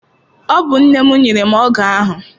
Ọ bụ nne m nyere m ọgụ ahụ.